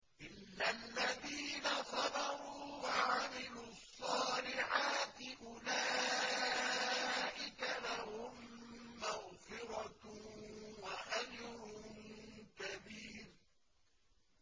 إِلَّا الَّذِينَ صَبَرُوا وَعَمِلُوا الصَّالِحَاتِ أُولَٰئِكَ لَهُم مَّغْفِرَةٌ وَأَجْرٌ كَبِيرٌ